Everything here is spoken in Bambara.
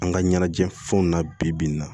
An ka ɲɛnajɛ fɛnw na bi bi in na